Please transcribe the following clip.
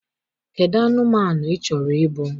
Kedụ anụmanụ ị chọrọ ịbụ: